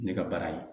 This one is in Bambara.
Ne ka baara ye